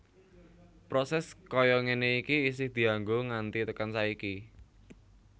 Proses kaya ngene iki isih dianggo nganti tekan saiki